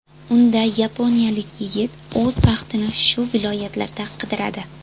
Unda yaponiyalik yigit o‘z baxtini shu viloyatlarda qidiradi.